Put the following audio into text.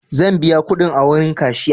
Zan biya kuɗin a wurin kashiya.